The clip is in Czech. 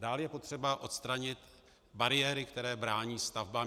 Dále je potřeba odstranit bariéry, které brání stavbám.